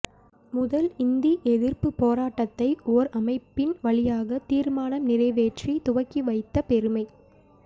முதல் இந்தி எதிர்ப்புப் போராட்டத்தை ஒரு அமைப்பின் வழியாக தீர்மானம் நிறைவேற்றித் துவக்கி வைத்த பெருமை